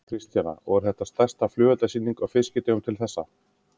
Kristjana: Og er þetta stærsta flugeldasýningin á Fiskidögunum til þessa?